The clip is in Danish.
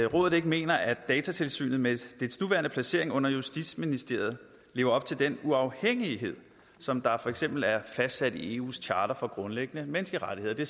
rådet ikke mener at datatilsynet med dets nuværende placering under justitsministeriet lever op til den uafhængighed som der for eksempel er fastsat i eus charter for grundlæggende menneskerettigheder og det